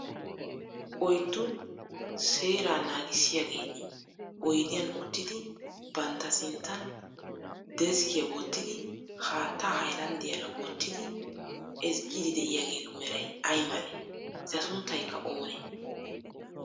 oyiddu seeraa naagissiyaageeti oyidiyan uttidi bantta sinttan deskkiya wottidi haattaa hayilanddiyaara wottidi ezggiiddi de'iyaageetu meray ayi malee? Eta sunttayikka oonee?